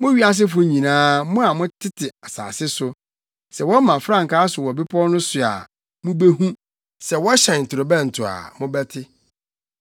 Mo wiasefo nyinaa, mo a motete asase so, sɛ wɔma frankaa so wɔ bepɔw no so a, mubehu sɛ wɔhyɛn torobɛnto a, mobɛte.